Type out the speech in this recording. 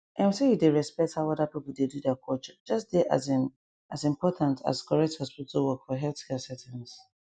ehm say you dey respect how other people dey do their culture just dey asin as important as correct hospital work for healthcare settings